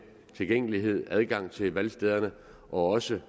tilgængelighed adgang til valgstederne og også